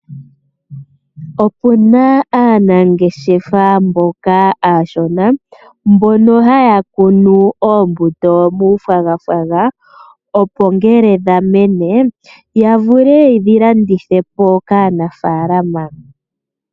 Opu na aanangeshefa mboka aashona, mbono ha ya kunu oombuto muuthagwathagwa opo ngele dha mene, ya vule ye dhi landithe po kaanafaalama.